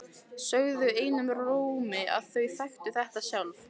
Sögðu einum rómi að þau þekktu þetta sjálf.